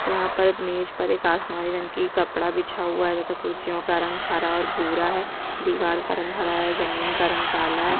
यहाँ पर मेज पर एक आसमानी रंग की कपड़ा बिछा हुआ है तथा कुर्सियों का रंग हरा और बूरा है दीवार का रंग हरा है जमीन का रंग काला है।